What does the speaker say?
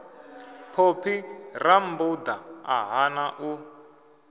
phophi rammbuda a hana u